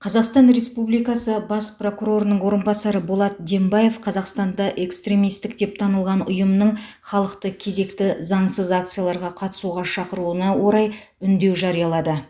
қазақстан республикасы бас прокурорының орынбасары болат дембаев қазақстанда экстремистік деп танылған ұйымның халықты кезекті заңсыз акцияларға қатысуға шақыруына орай үндеу жариялады